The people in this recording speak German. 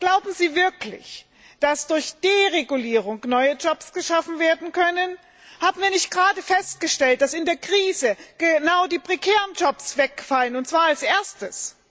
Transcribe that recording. Glauben Sie wirklich, dass durch Deregulierung neue Jobs geschaffen werden können? Hatten wir nicht gerade festgestellt, dass in der Krise genau die prekären Jobs wegfallen, und zwar als erstes?